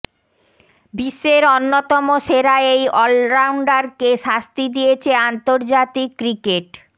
বিশ্বের অন্যতম সেরা এই অলরাউন্ডারকে শাস্তি দিয়েছে আন্তর্জাতিক ক্রিকেট